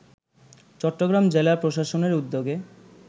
চট্টগ্রাম জেলা প্রশাসনের উদ্যোগে